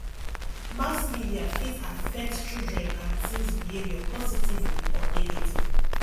mass media fit affect children and teens behavior positively or negatively